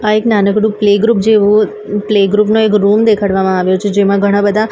આ એક નાનકડુ પ્લેગ્રુપ જેવુ પ્લેગ્રુપ નો એક રૂમ દેખાડવામાં આવ્યો છે જેમા ઘણા-બધા --